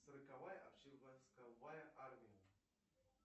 сороковая общевойсковая армия